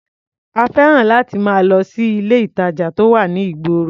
A fẹ́ràn láti máa lọ sí ilé-ìtàjà tó wà ní ìgboro.